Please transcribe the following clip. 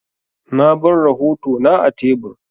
Na bar rahotona a tebur.